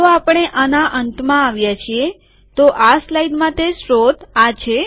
તો આપણે આના અંતમાં આવ્યા છીએ તો આ સ્લાઇડ માટે સ્ત્રોત આ છે